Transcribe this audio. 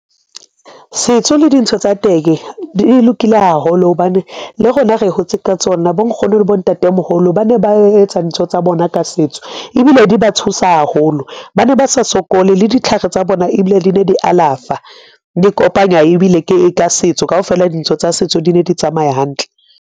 Setso le dintho tsa teng di lokile haholo hobane le rona re hotse ka tsona. Bo Nkgono le bo Ntate-moholo ba ne ba etsa ntho tsa bona ka setso ebile di ba thusa haholo. Ba ne ba sa sokole le ditlhare tsa bona ebile di ne di alafa, di kopanya ebile ka setso kaofela dintho tsa setso di ne di tsamaya hantle.